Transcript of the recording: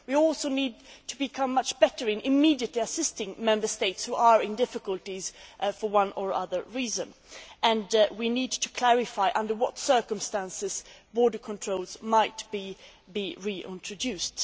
We also need to become much better in immediately assisting Member States which are in difficulties for one or other reason, and we need to clarify under what circumstances border controls might be reintroduced.